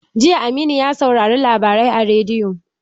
Jiya Aminu ya saurari labarai a rediyo